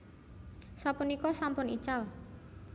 Sapunika sampun ical